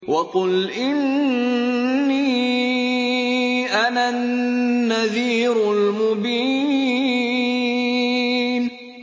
وَقُلْ إِنِّي أَنَا النَّذِيرُ الْمُبِينُ